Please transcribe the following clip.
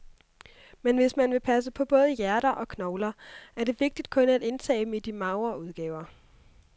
Men hvis man vil passe på både hjerte og knogler, er det vigtigt kun at indtage dem i de magre udgaver.